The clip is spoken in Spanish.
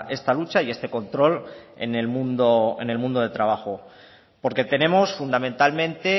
esta lucha y este control en el mundo en el mundo del trabajo porque tenemos fundamentalmente